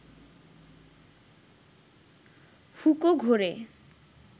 হুঁকো ঘোরে